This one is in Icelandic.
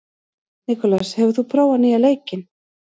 Nikolas, hefur þú prófað nýja leikinn?